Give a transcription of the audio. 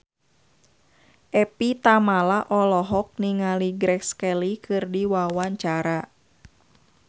Evie Tamala olohok ningali Grace Kelly keur diwawancara